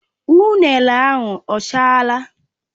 Ụnene ahụ ọ chaala?